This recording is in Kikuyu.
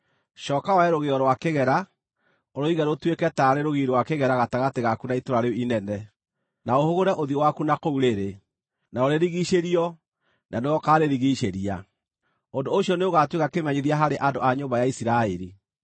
Cooka woe rũgĩo rwa kĩgera, ũrũige rũtuĩke taarĩ rũgiri rwa kĩgera gatagatĩ gaku na itũũra rĩu inene, na ũhũgũre ũthiũ waku na kũu rĩrĩ. Narĩo rĩrigiicĩrio, na nĩwe ũkaarĩrigiicĩria. Ũndũ ũcio nĩũgaatuĩka kĩmenyithia harĩ andũ a nyũmba ya Isiraeli.